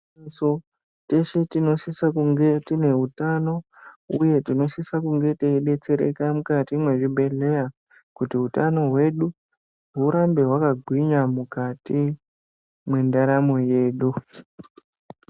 ...so teshe tinosisa kunge tine utano uye tinosisa kunge teidetsereka mukati mwezvibhehleya kuti hutano hwedu hurambe hwakagwinya mukati mwendaramo yedu.